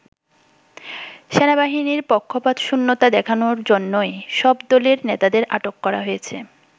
সেনাবাহিনীর পক্ষপাতশূন্যতা দেখানোর জন্যই সব দলের নেতাদের আটক করা হয়েছে।